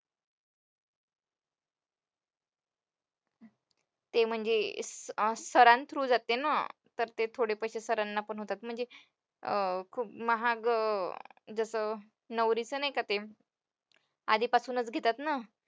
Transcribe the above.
ते म्हणजे सरां through जाते ना, तर ते थोडे पैशे सरांना पण होतात म्हणजे अं खूप महाग जसं नवरीचं नाही का ते आधीपासूनच घेतात ना,